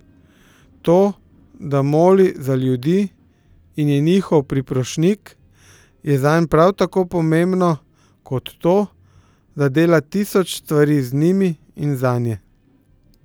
To, da moli za ljudi in je njihov priprošnjik, je zanj prav tako pomembno kot to, da dela tisoč stvari z njimi in zanje.